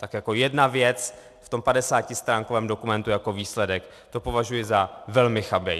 Tak jako jedna věc v tom 50stránkovém dokumentu jako výsledek, to považuji za velmi chabé.